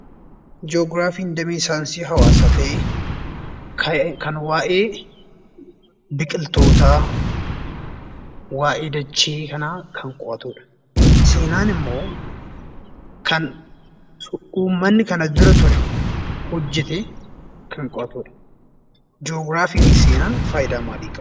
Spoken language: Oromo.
Ji'ograafiin damee saayinsii hawaasaa ta'ee, kan waa'ee Biqiltootaa, waa'ee dachee kanaa kan qo'atudha. Seenaan immoo kan uummanni kana dura ture hojjete kan qo'atudha. Ji'ograafii fi Seenaan faayidaa maalii qabu?